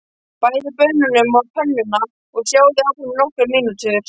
Bætið baununum á pönnuna og sjóðið áfram í nokkrar mínútur.